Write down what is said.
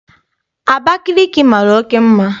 Abakaliki mara oké mma.